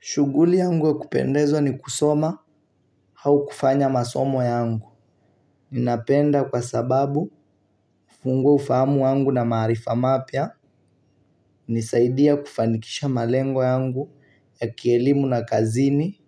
Shughuli yangu ya kupendezwa ni kusoma au kufanya masomo yangu. Ninapenda kwa sababu, hufungua ufahamu yangu na maarifa mapya. Hunisaidia kufanikisha malengo yangu ya kielimu na kazini,